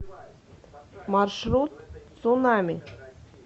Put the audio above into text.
маршрут цунами